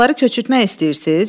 Qonşuları köçürtmək istəyirsiz?